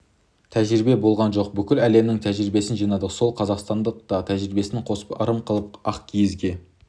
тәжірибе болған жоқ бүкіл әлемнің тәжірибесін жинадық сол қазақтың да тәжірибесін қосып ырым қылып ақ киізге